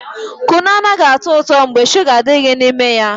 Kunu anaghị atọ ụtọ mgbe shuga adịghị n'ime ya